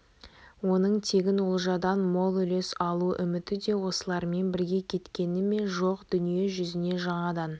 оның тегін олжадан мол үлес алу үміті де осылармен бірге кеткені ме жоқ дүние жүзіне жаңадан